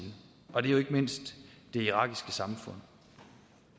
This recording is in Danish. og det er jo ikke mindst det irakiske samfund